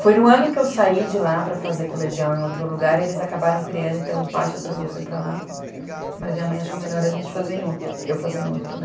Foi no ano que eu saí de lá para fazer colegial em outro lugar, eles acabaram criando, então parte da turma foi para lá, mas minha mãe achou melhor a gente fazer em outro, eu fazer em outro, né.